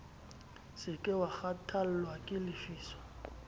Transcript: se ke wakgahlwa ke lefiso